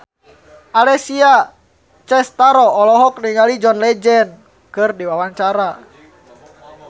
Alessia Cestaro olohok ningali John Legend keur diwawancara